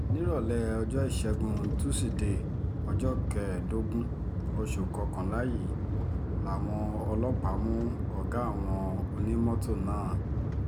nírọ̀lẹ́ ọjọ́ ìṣẹ́gun tusidee ọjọ́ kẹẹ̀ẹ́dógún oṣù kọkànlá yìí làwọn ọlọ́pàá mú ọ̀gá àwọn onímọ́tò náà